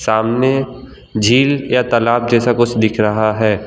सामने झील या तालाब जैसा कुछ दिख रहा है।